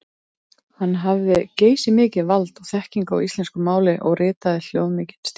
Hann hafði geysimikið vald og þekkingu á íslensku máli og ritaði hljómmikinn stíl.